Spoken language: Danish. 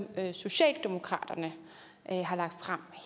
socialdemokratiet har lagt frem